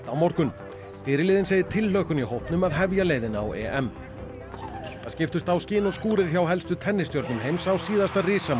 morgun fyrirliðinn segir tilhlökkun í hópnum að hefja leiðina á EM það skiptust á skin og skúrir hjá helstu heims á síðasta